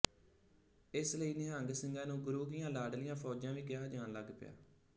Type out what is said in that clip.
ਇਸ ਲਈ ਨਿਹੰਗ ਸਿੰਘਾਂ ਨੂੰ ਗੁਰੂ ਕੀਆਂ ਲਾਡਲੀਆਂ ਫੌਜਾਂ ਵੀ ਕਿਹਾ ਜਾਣ ਲੱਗ ਪਿਆ